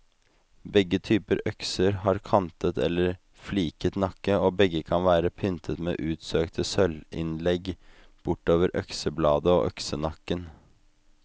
Begge typer økser har kantet eller fliket nakke, og begge kan være pyntet med utsøkte sølvinnlegg bortover øksebladet og øksenakken.